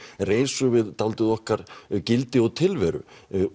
er eins og dálítið á okkar gildi og tilveru